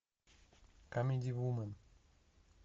камеди вумен